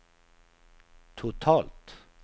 totalt